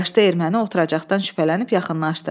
Yaşlı erməni oturacaqdan şübhələnib yaxınlaşdı.